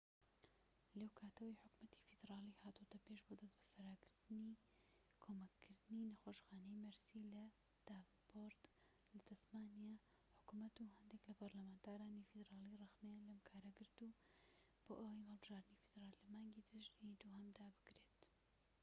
لەوکاتەوەی حکومەتی فیدرالی هاتۆتە پێش بۆ دەستبەسەرداگرتنی کۆمەککردنی نەخۆشخانەی مەرسی لە داڤنپۆرت لە تەسمانیا حکومەت و هەندێك لە پەرلەمانتارانی فیدرالی رەخنەیان لەم کارە گرت بۆ ئەوەی هەڵبژاردنی فیدرالی لە مانگی تشرینی دووهەمدا بکرێت